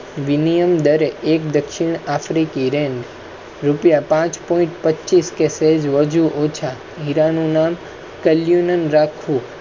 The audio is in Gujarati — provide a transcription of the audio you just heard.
વિનિયમ દર એક દક્ષિણ આફ્રિકી રેન. રૂપિયા પાંચ point પચીસ કે સેજ વાજું ઓછા. કલ યૂન રાખો